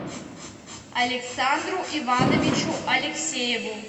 александру ивановичу алексееву